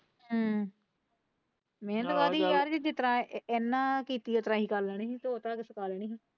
ਮਿਹਨਤ ਕਹਿ ਦੀ ਯਾਰ ਜਿਸ ਤਰਾਂ ਇਹਨੇ ਕੀਤੀ ਹੈ ਕੱਲ ਅਸੀਂ ਵੀ ਉਹਦਾ।